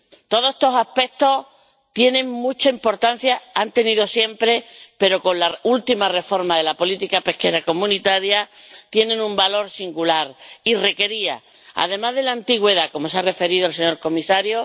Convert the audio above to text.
Todos estos aspectos tienen mucha importancia —la han tenido siempre—, pero con la última reforma de la política pesquera común tienen un valor singular y requerían, además de por la antigüedad —a la que se ha referido el señor comisario